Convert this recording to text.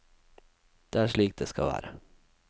Det er slik det skal være.